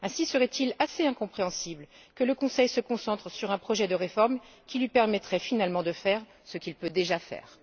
Ainsi serait il assez incompréhensible que le Conseil se concentre sur un projet de réforme qui lui permettrait finalement de faire ce qu'il peut déjà faire.